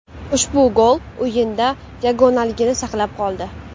Ushbu gol o‘yinda yagonaligini saqlab qoldi.